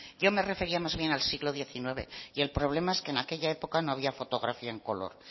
yo me refería más bien al siglo diecinueve y el problema es que en aquella época no había fotografía en color